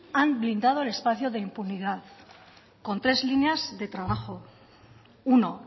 han blindado el espacio de impunidad con tres líneas de trabajo uno